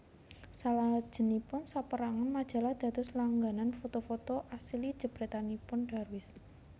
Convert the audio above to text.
Salajengipun saperangan majalah dados langganan foto foto asil jepretanipun Darwis